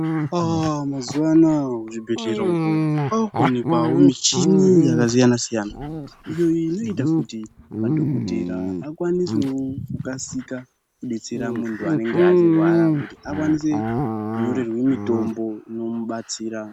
Aaa mazuva anaya kuzvibhedhlera ukoo kwavakuwanikwawo mishini yakasiyana siyana iyi inoita kuti madhokotera akwanisewo kukasika kubetsera muntu anenge achirwara kuti akwanise kunyorerwe mitombo ino mubatsira.